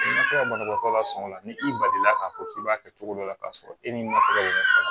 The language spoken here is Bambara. I ma se ka banabaatɔ lasɔŋɔ la ni i balila k'a fɔ k'i b'a kɛ cogo dɔ la k'a sɔrɔ e ni ma se ka